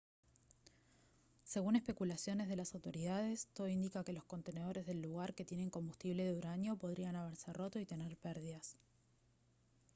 según especulaciones de las autoridades todo indica que los contenedores del lugar que tienen combustible de uranio podrían haberse roto y tener pérdidas